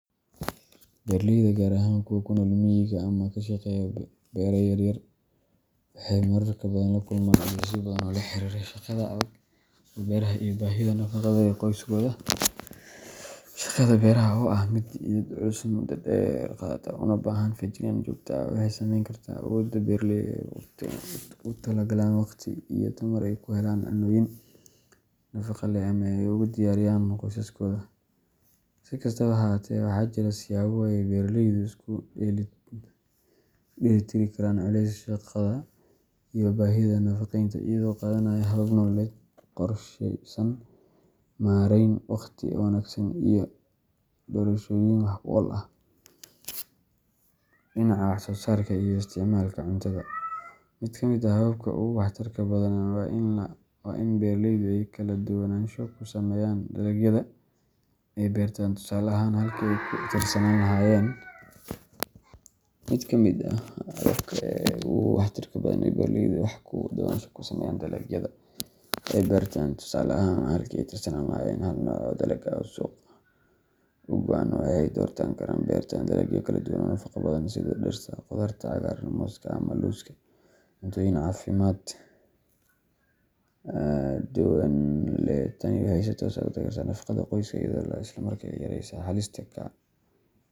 Beeraleyda, gaar ahaan kuwa ku nool miyiga ama ka shaqeeya beero yaryar, waxay mararka badan la kulmaan culaysyo badan oo la xiriira shaqada adag ee beeraha iyo baahida nafaqada ee qoysaskooda. Shaqada beeraha, oo ah mid jidheed culus, muddo dheer qaadata, una baahan feejignaan joogto ah, waxay saameyn kartaa awoodda beeraleyda ee ay ugu talagalaan wakhti iyo tamar ay ku helaan cunnooyin nafaqo leh ama ay ugu diyaariyaan qoysaskooda. Si kastaba ha ahaatee, waxaa jira siyaabo ay beeraleydu isku dheelitiri karaan culayska shaqada iyo baahida nafaqeynta, iyagoo qaadanaya hab-nololeed qorsheysan, maarayn waqti oo wanaagsan, iyo doorashooyin wax-ku-ool ah oo dhinaca wax-soosaarka iyo isticmaalka cuntada. Mid ka mid ah hababka ugu waxtarka badan waa in beeraleydu ay kala duwanaansho ku sameeyaan dalagyada ay beertaan. Tusaale ahaan, halkii ay ku tiirsanaan lahaayeen hal nooc oo dalag ah oo suuq u go’an, waxay dooran karaan inay beertaan dalagyo kala duwan oo nafaqo badan leh sida digirta, khudaarta cagaaran, mooska, ama lowska, si ay u helaan cuntooyin kala duwan oo caafimaad leh. Tani waxay si toos ah u taageertaa nafaqada qoyska, iyadoo isla markaasna yaraynaysa halista ka timaadda.